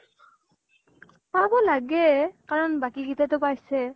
পাব লাগে। কাৰণ বাকী কিতাইটো পাইছে।